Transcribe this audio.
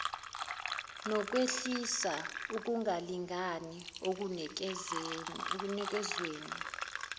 nokwehlisa ukungalingani ekunikezweni